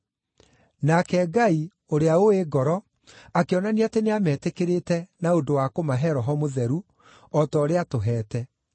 Nake Ngai, ũrĩa ũũĩ ngoro, akĩonania atĩ nĩametĩkĩrĩte na ũndũ wa kũmahe Roho Mũtheru, o ta ũrĩa aatũhete.